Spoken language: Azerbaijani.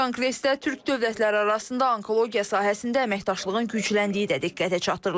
Konqresdə Türk dövlətləri arasında onkologiya sahəsində əməkdaşlığın gücləndiyi də diqqətə çatdırılıb.